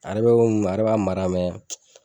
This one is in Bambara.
A yɛrɛ be komi a yɛrɛ b'a mara mɛ